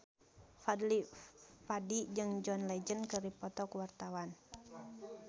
Fadly Padi jeung John Legend keur dipoto ku wartawan